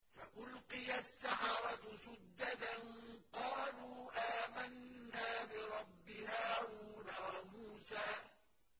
فَأُلْقِيَ السَّحَرَةُ سُجَّدًا قَالُوا آمَنَّا بِرَبِّ هَارُونَ وَمُوسَىٰ